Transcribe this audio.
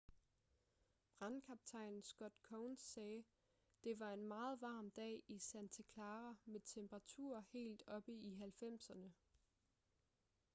brandkaptajn scott kouns sagde: det var en meget varm dag i santa clara med temperaturer helt oppe i 90'erne